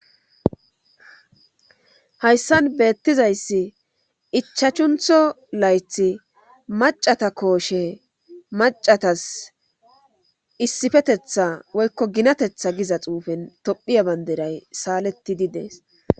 Hayssan beettizayssi ichachuntho layth macata kooshe macatas issifetetha woykko ginatetha giza xuufen tophiya banderay saaletti didees